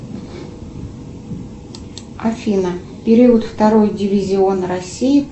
афина период второй дивизион россии